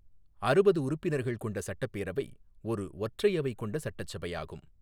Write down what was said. அறுபது உறுப்பினர்கள் கொண்ட சட்டப்பேரவை ஒரு ஒற்றையவை கொண்ட சட்டச்சபையாகும்.